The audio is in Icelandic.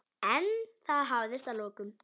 En það hafðist að lokum.